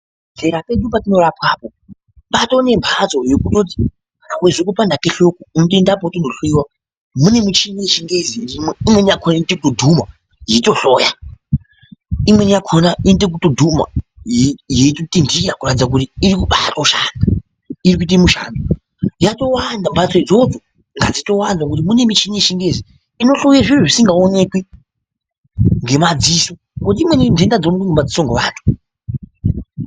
Padera pedu patinorapwa apo patonemhatso yekutoti ukazwe kupanda kwehloko unotendapo weitonohloyiwa, mune michini yechingezi irimwo imweni yakona inoite kudhuma yeitohloya, imweni yakona inoitekudhuma yeitotinhira kuratidze kuti irikuba atoshanda, irikuite mushando, yatowanda, mhadzo idzodzo ngadzitowanda nekuti mune michini yechingezi inohloyi zviro zvisngaonekwi ngemadziso.